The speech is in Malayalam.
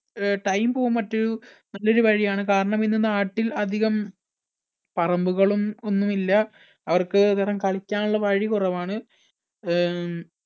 അഹ് time പോകാൻ മറ്റും നല്ലൊരു വഴിയാണ് കാരണം ഇന്ന് നാട്ടിൽ അധികം പറമ്പുകളും ഒന്നുമില്ല അവർക്ക് അന്നേരം കളിക്കാനുള്ള വഴി കുറവാണ്. അഹ്